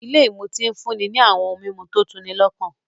Ilé ìmutí ń fúnni ní àwọn ohun mímu tó tu'ni lọ́kàn